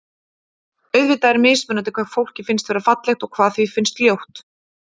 Auðvitað er mismunandi hvað fólki finnst vera fallegt og hvað því finnst ljótt.